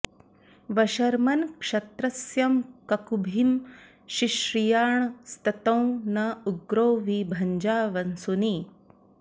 वर्ष्म॑न् क्ष॒त्रस्य॑ क॒कुभि॑ शिश्रिया॒णस्ततो॑ न उ॒ग्रो वि भ॑जा॒ वसू॑नि